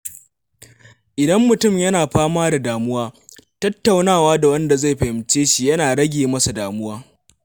Idan mutum yana fama da damuwa, tattaunawa da wanda zai fahimce shi yana rage masa damuwa.